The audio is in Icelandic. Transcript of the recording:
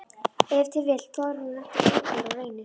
Ef til vill þorir hún ekki ein þegar á reynir?